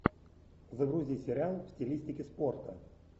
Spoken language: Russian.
загрузи сериал в стилистике спорта